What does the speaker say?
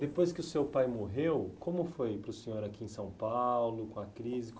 Depois que o seu pai morreu, como foi para o senhor aqui em São Paulo, com a crise?